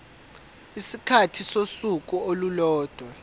isikhathi sosuku olulodwa